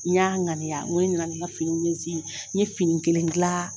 N'an ŋani nko ,ne nana ne ka finiw ye zein, n' ye fini kelen glaaa.